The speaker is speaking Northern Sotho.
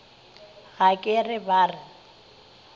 ga ke re ba re